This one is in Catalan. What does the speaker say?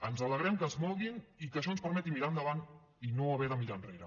ens alegrem que es moguin i que això ens permeti mirar endavant i no haver de mirar enrere